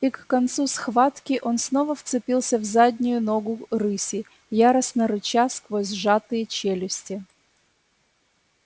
и к концу схватки он снова вцепился в заднюю ногу рыси яростно рыча сквозь сжатые челюсти